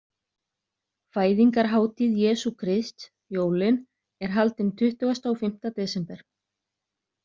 Fæðingarhátíð Jesú Krists, jólin, er haldin tuttugasta og fimmta desember.